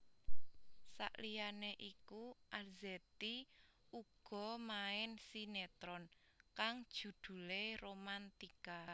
Saliyane iku Arzetti uga main sinetron kang judhulé Romantika